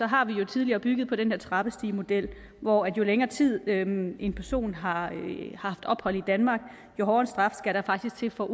har vi jo tidligere bygget på den her trappestigemodel hvor jo længere tid en en person har haft ophold i danmark jo hårdere straf skal der faktisk til for at